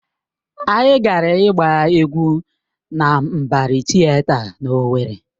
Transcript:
Anyị gara ịgba egwu na Mbari Tịeta na Owerri.